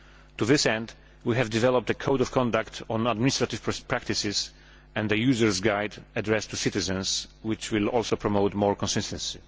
To this end, we have developed a code of conduct on administrative practices and a user guide addressed to citizens, which will also promote more consistency.